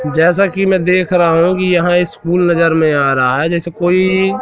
जैसा कि मैं देख रहा हूं कि यहां ये स्कूल नजर में आ रहा है जैसे कोई--